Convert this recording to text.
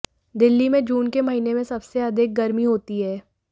दिल्ली में जून के महीने में सबसे अधिक गरमी होती है